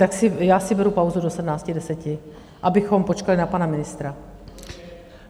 Tak já si beru pauzu do 17.10, abychom počkali na pana ministra.